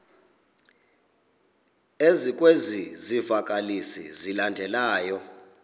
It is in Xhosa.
ezikwezi zivakalisi zilandelayo